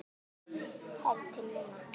Þar til núna.